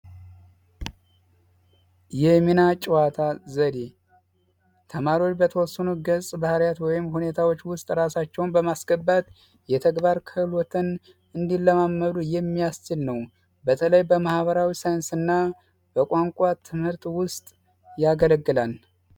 የሚና ጨዋታ ዘዴ ተማሪዎች በተወሰኑ ገፀባህርያት ወይም ሁኔታዎች ውስጥ ራሳቸውን በማስገባት የተግባር ክህሎትን እንዲለማመዱ የሚያስችል ነው። በተለይ በማህበራዊ ሳይንስ እና በቋንቋ ትምህርት ውስጥ ያገለግላል።